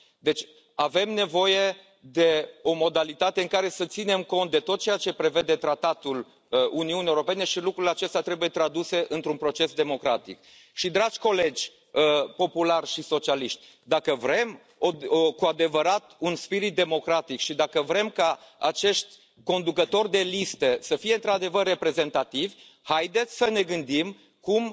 Deci, avem nevoie de o modalitate în care să ținem cont de tot ceea ce prevede Tratatul Uniunii Europene și lucrurile acestea trebuie traduse într un proces democratic. Dragi colegi populari și socialiști, dacă vrem cu adevărat un spirit democratic și dacă vrem ca acești conducători de liste să fie într adevăr reprezentativi, haideți să ne gândim cum